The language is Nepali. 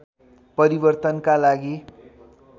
परिवर्तनका लागि